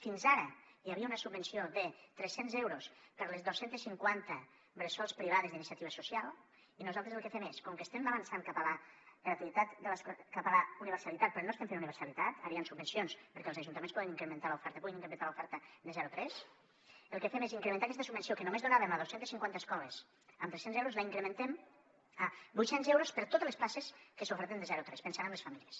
fins ara hi havia una subvenció de tres cents euros per a les dos cents i cinquanta bressols privades d’iniciativa social i nosaltres el que fem és com que estem avançant cap a la universalitat però no estem fent universalitat ara hi han subvencions perquè els ajuntaments puguin incrementar l’oferta de zero a tres el que fem és incrementar aquesta subvenció que només donàvem a dos cents i cinquanta escoles amb tres cents euros la incrementem a vuit cents euros per a totes les places que s’oferten de zero a tres pensant en les famílies